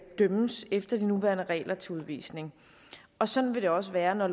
dømmes efter de nuværende regler til udvisning og sådan vil det også være når